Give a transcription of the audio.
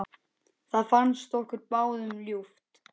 Það fannst okkur báðum ljúft.